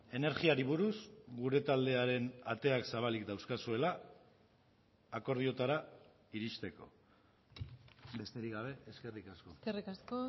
energiari buruz gure taldearen ateak zabalik dauzkazuela akordioetara iristeko besterik gabe eskerrik asko eskerrik asko